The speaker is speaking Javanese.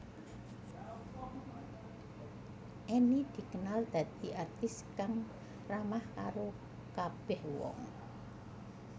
Enny dikenal dadi artis kang ramah karo kabeh wong